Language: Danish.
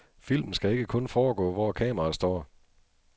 Filmen skal ikke kun foregå, hvor kameraet står.